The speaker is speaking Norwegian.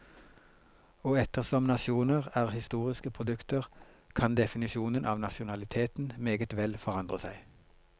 Og ettersom nasjoner er historiske produkter, kan definisjonen av nasjonaliteten meget vel forandre seg.